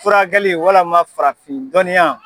Furakɛli walama farafin dɔnniya.